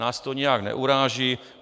Nás to nijak neuráží.